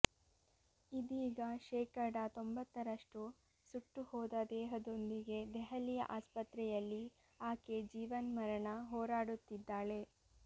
ಇದೀಗ ಶೇಕಡಾ ತೊಂಬತ್ತರಷ್ಟು ಸುಟ್ಟುಹೋದ ದೇಹದೊಂದಿಗೆ ದೆಹಲಿಯ ಆಸ್ಪತ್ರೆಯಲ್ಲಿ ಆಕೆ ಜೀವನ್ಮರಣ ಹೋರಾಡುತ್ತಿದ್ದಾಳೆ